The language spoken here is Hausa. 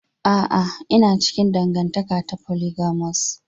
A'a, ina cikin dangantaka ta polyamorous.